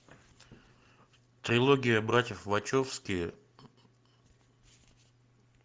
трилогия братьев вачовски